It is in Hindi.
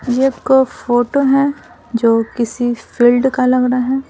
ये आपको फोटो है जो किसी फील्ड का लग रहा है।